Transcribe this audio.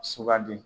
Sugandi